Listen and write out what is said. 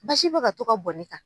Basi bɛ ka to ka bɔn ne kan.